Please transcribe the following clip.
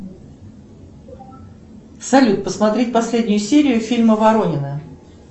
салют посмотреть последнюю серию фильма воронины